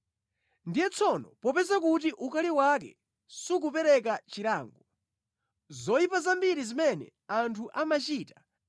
ndiye tsono popeza kuti ukali wake sukupereka chilango, zoyipa zambiri zimene anthu amachita,